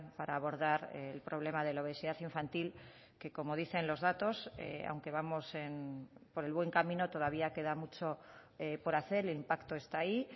para abordar el problema de la obesidad infantil que como dicen los datos aunque vamos por el buen camino todavía queda mucho por hacer el impacto está ahí